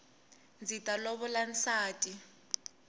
ndzi ta lovola nsati